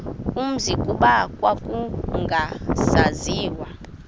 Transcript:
umzi kuba kwakungasaziwa